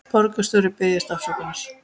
Borgarstjóri biðjist afsökunar